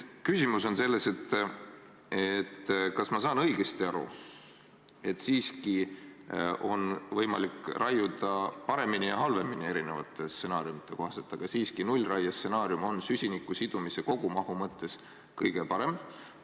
Kas ma saan õigesti aru, et erinevate stsenaariumide kohaselt on võimalik raiuda paremini ja halvemini, aga et nullraie stsenaarium on süsiniku sidumise kogumahu mõttes siiski kõige parem?